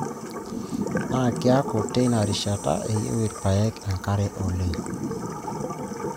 Naa kiaku teina rishata eyieu irpaek enkare oleng.